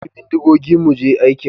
ka ɗauki bindigogi mu je aikin.